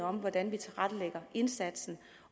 om hvordan vi tilrettelægger indsatsen